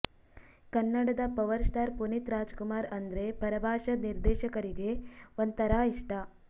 ಕನ್ನಡದ power star Puneeth Raj Kumar ಅಂದ್ರೆ ಪರಭಾಷಾ ನಿರ್ದೇಶಕರಿಗೆ ಒಂಥರಾ ಇಷ್ಟ